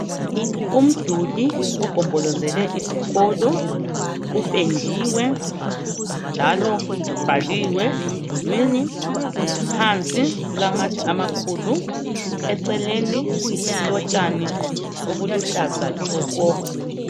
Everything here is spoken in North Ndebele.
Umduli ogombolozele isikolo upendiwe njalo kubhaliwe emdulwini phansi kulamatshe amakhulu eceleni kulotshani obuluhlaza tshoko.